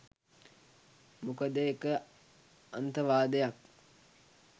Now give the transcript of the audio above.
මොකද එක අන්තවාදයක්